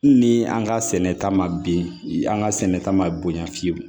Ni an ka sɛnɛta ma bin an ka sɛnɛ ta ma bonya fiyewu